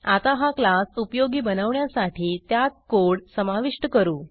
आता हा क्लास उपयोगी बनवण्यासाठी त्यात कोड समाविष्ट करू